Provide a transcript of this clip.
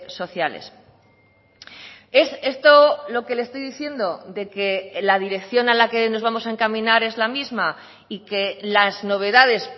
sociales es esto lo que le estoy diciendo de que la dirección a la que nos vamos a encaminar es la misma y que las novedades